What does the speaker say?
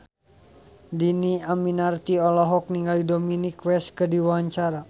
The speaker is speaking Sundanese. Dhini Aminarti olohok ningali Dominic West keur diwawancara